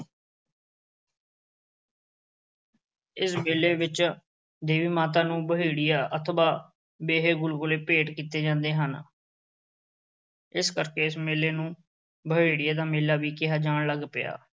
ਇਸ ਮੇਲੇ ਵਿੱਚ ਦੇਵੀ ਮਾਤਾ ਨੂੰ ਬਹੇੜੀਆ ਅਥਵਾ ਬੇਹੇ ਗੁਲਗੁਲੇ ਭੇਟ ਕੀਤੇ ਜਾਂਦੇ ਹਨ। ਇਸ ਕਰਕੇ ਇਸ ਮੇਲੇ ਨੂੰ ਬਹੇੜੀਏ ਦਾ ਮੇਲਾ ਵੀ ਕਿਹਾ ਜਾਣ ਲੱਗ ਪਿਆ।